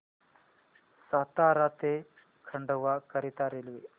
सातारा ते खंडवा करीता रेल्वे